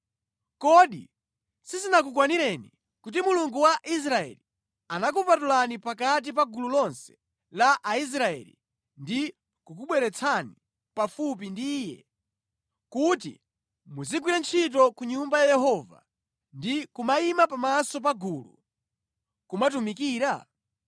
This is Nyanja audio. Kodi sizinakukwanireni kuti Mulungu wa Israeli anakupatulani pakati pa gulu lonse la Aisraeli ndi kukubweretsani pafupi ndi Iye, kuti muzigwira ntchito ku nyumba ya Yehova ndi kumayima pamaso pa gulu, kumatumikira?